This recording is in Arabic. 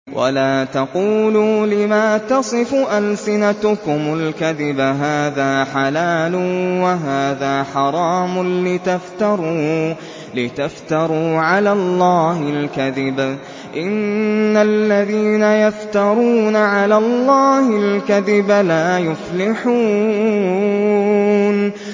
وَلَا تَقُولُوا لِمَا تَصِفُ أَلْسِنَتُكُمُ الْكَذِبَ هَٰذَا حَلَالٌ وَهَٰذَا حَرَامٌ لِّتَفْتَرُوا عَلَى اللَّهِ الْكَذِبَ ۚ إِنَّ الَّذِينَ يَفْتَرُونَ عَلَى اللَّهِ الْكَذِبَ لَا يُفْلِحُونَ